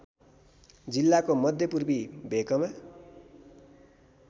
जिल्लाको मध्यपूर्वी भेकमा